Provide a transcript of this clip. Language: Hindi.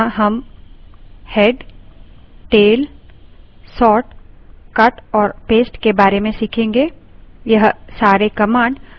यहाँ हम head head tail tail sort sort cut cut और paste paste के बारे में सीखेंगे